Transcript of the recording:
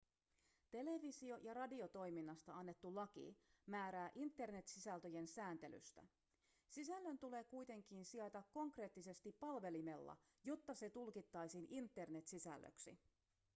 televisio- ja radiotoiminnasta annettu laki määrää internet-sisältöjen sääntelystä sisällön tulee kuitenkin sijaita konkreettisesti palvelimella jotta se tulkittaisiin internet-sisällöksi